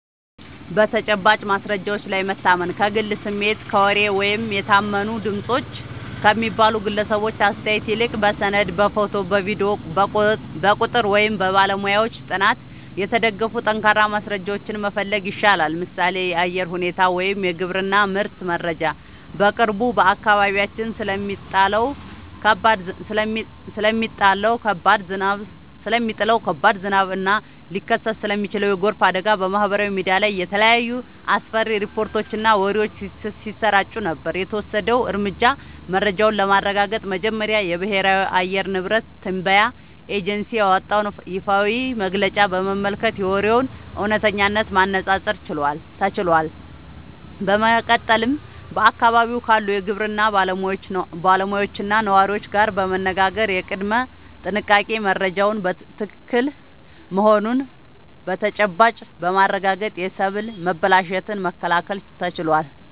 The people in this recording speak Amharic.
በተጨባጭ ማስረጃዎች ላይ መታመን፦ ከግል ስሜት፣ ከወሬ ወይም "የታመኑ ድምፆች" ከሚባሉ ግለሰቦች አስተያየት ይልቅ፣ በሰነድ፣ በፎቶ፣ በቪዲዮ፣ በቁጥር ወይም በባለሙያዎች ጥናት የተደገፉ ጠንካራ ማስረጃዎችን መፈለግ ይሻላል። ምሳሌ (የአየር ሁኔታ ወይም የግብርና ምርት መረጃ)፦ በቅርቡ በአካባቢያችን ስለሚጣለው ከባድ ዝናብ እና ሊከሰት ስለሚችል የጎርፍ አደጋ በማህበራዊ ሚዲያ ላይ የተለያዩ አስፈሪ ሪፖርቶችና ወሬዎች ሲሰራጩ ነበር። የተወሰደው እርምጃ፦ መረጃውን ለማረጋገጥ መጀመሪያ የብሔራዊ የአየር ንብረት ትንበያ ኤጀንሲ ያወጣውን ይፋዊ መግለጫ በመመልከት የወሬውን እውነተኝነት ማነፃፀር ተችሏል። በመቀጠልም በአካባቢው ካሉ የግብርና ባለሙያዎችና ነዋሪዎች ጋር በመነጋገር የቅድመ-ጥንቃቄ መረጃው ትክክል መሆኑን በተጨባጭ በማረጋገጥ የሰብል መበላሸትን መከላከል ተችሏል።